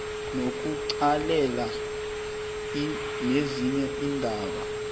nokuqalelela nezinye iindaba